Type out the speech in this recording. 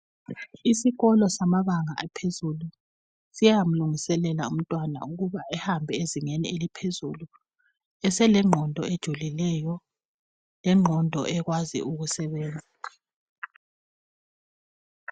Isikolo samabanga aphezulu siyamlungiselela umntwana ukuba ahambe ezingeni eliphezulu eselengqondo ejulileyo lengqondo ekwazi ukusebenza